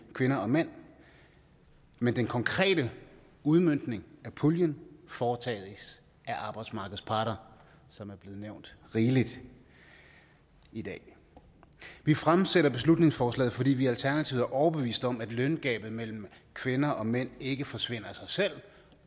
kvinder og mænd men den konkrete udmøntning af puljen foretages af arbejdsmarkedets parter som er blevet nævnt rigeligt i dag vi fremsætter beslutningsforslaget fordi vi i alternativet er overbevist om at løngabet mellem kvinder og mænd ikke forsvinder af sig selv